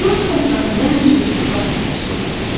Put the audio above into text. İndi onun ətrafında həmişə uşaqlar toplaşırlar.